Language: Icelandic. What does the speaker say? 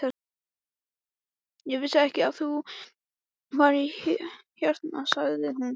Ég vissi ekki að þú værir hérna sagði hún.